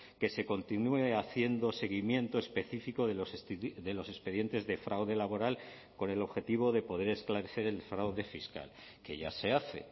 que se continúe haciendo seguimiento específico de los expedientes de fraude laboral con el objetivo de poder esclarecer el fraude fiscal que ya se hace